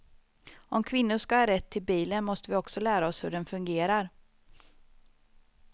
Om kvinnor ska ha rätt till bilen måste vi också lära oss hur den fungerar.